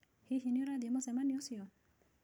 Hihi nĩ ũrathiĩ mũcemanio ũcio?